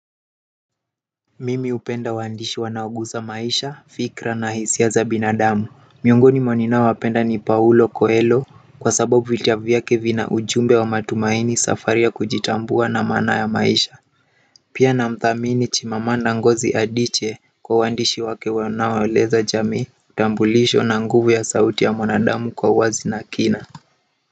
Mimi hupenda waandishi wanaoguza maisha, fikra na hisiaza binadamu miongoni mwaninao wapenda ni paulo koelo kwa sababu vitabuvyake vina ujumbe wa matumaini safari ya kujitambua na maana ya maisha pia na mthamini chimamanda ngozi adiche kwa uandishi wake wanao eleza jamii utambulisho na nguvu ya sauti ya mwanadamu kwa uwazi na kina.